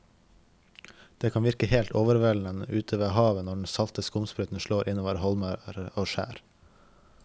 Det kan virke helt overveldende ute ved havet når den salte skumsprøyten slår innover holmer og skjær.